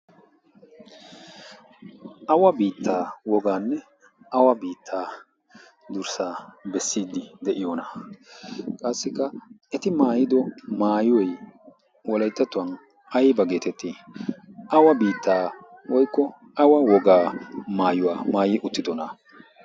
awa biittaa wogaanne awa biittaa durssaa bessiiddi de'iyoona? qaassikka eti maayido maayuwoi woleettattuwan ayba geetettii awa biittaa woykko awa wogaa maayuwaa maayi uttidona?